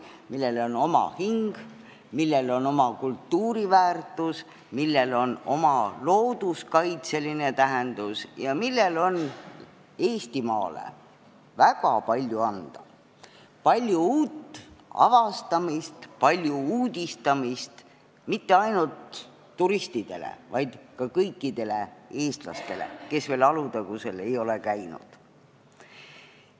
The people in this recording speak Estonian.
Sellel on oma hing, oma kultuuriväärtus looduskaitseline tähendus ning Eestimaale väga palju anda – palju uut avastamist ja uudistamist mitte ainult turistidele, vaid ka kõikidele eestlastele, kes veel ei ole Alutagusel käinud.